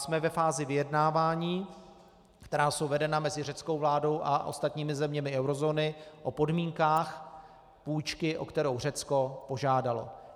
Jsme ve fázi vyjednávání, která jsou vedena mezi řeckou vládou a ostatními zeměmi eurozóny o podmínkách půjčky, o kterou Řecko požádalo.